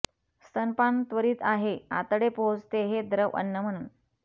स्तनपान त्वरीत आहे आतडे पोहोचते हे द्रव अन्न म्हणून